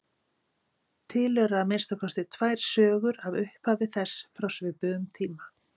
Til eru að minnsta kosti tvær sögur af upphafi þess frá svipuðum tíma.